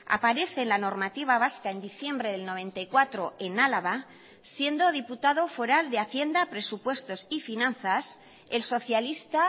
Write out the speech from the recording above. aparece en la normativa vasca en diciembre del noventa y cuatro en álava siendo diputado foral de hacienda presupuestos y finanzas el socialista